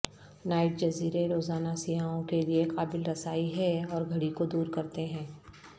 night جزیرے روزانہ سیاحوں کے لئے قابل رسائی ہے اور گھڑی کو دور کرتے ہیں